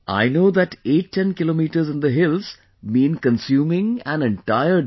I know that 810 kilometres in the hills mean consuming an entire day